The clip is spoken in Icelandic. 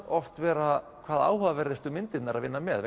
oft vera hvað áhugaverðustu myndirnar að vinna með